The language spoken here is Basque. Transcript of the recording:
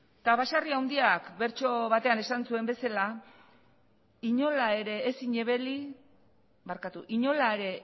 eta basarri handiak bertso batzean esan zuen bezala inola ere